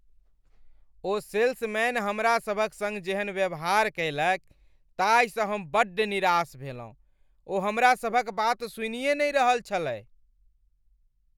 ओ salesman हमरासभक सङ्ग जेहन व्यवहार कयलक ताहिसँ हम बड्ड निराश भेलहुँ , ओ हमरासभक बात सुनिए नहि रहल छलय।